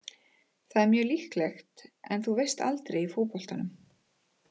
Það er mjög líklegt en þú veist aldrei í fótboltanum.